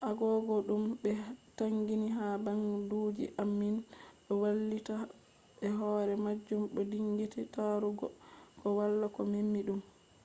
agogo dum be taginga ha banduji ammin do wailita be hore majum bo dingiti tarugo ko wala ko memi dum